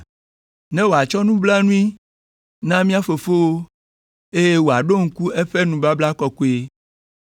ne wòakpɔ nublanui na mía fofowo, eye wòaɖo ŋku eƒe nubabla kɔkɔe,